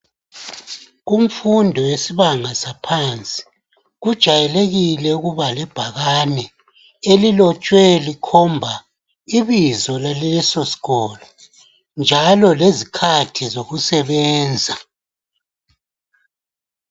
Kumfundo yesibanga saphansi kujayelikile ukuba lebhakane elilotshwe likhomba ibizo laleso sikolo njalo lezikhathi zokusebenza.